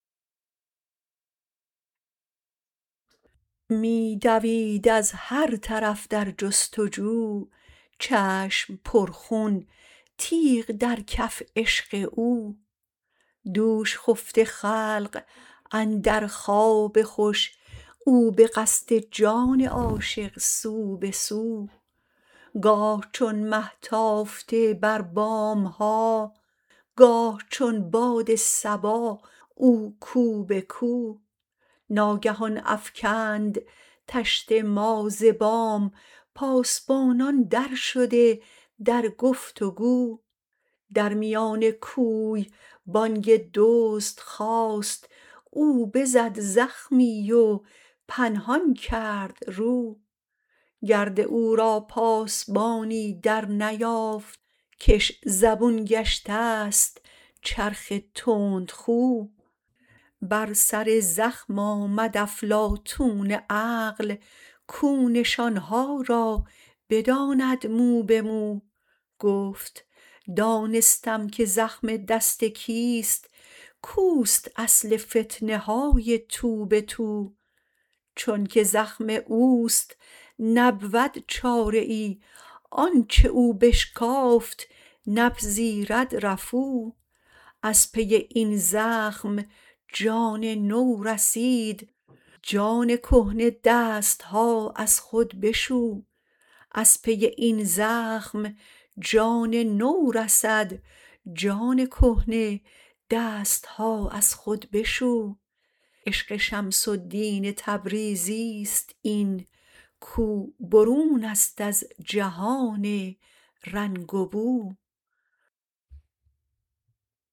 می دوید از هر طرف در جست و جو چشم پرخون تیغ در کف عشق او دوش خفته خلق اندر خواب خوش او به قصد جان عاشق سو به سو گاه چون مه تافته بر بام ها گاه چون باد صبا او کو به کو ناگهان افکند طشت ما ز بام پاسبانان درشده در گفت و گو در میان کوی بانگ دزد خاست او بزد زخمی و پنهان کرد رو گرد او را پاسبانی درنیافت کش زبون گشته ست چرخ تندخو بر سر زخم آمد افلاطون عقل کو نشان ها را بداند مو به مو گفت دانستم که زخم دست کیست کو است اصل فتنه های تو به تو چونک زخم او است نبود چاره ای آنچ او بشکافت نپذیرد رفو از پی این زخم جان نو رسید جان کهنه دست ها از خود بشو عشق شمس الدین تبریزی است این کو برون است از جهان رنگ و بو